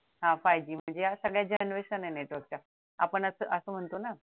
हा five G म्हणजे ह्या अशा सगळ्या generation आहेत network च्या आपण असं म्हणतो ना